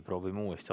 Proovime uuesti.